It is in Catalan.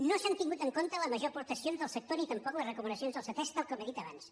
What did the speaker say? no s’han tingut en compte les majors aportacions del sector ni tampoc les recomanacions de ctesc tal com he dit abans